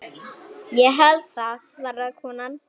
Ég held það svaraði konan.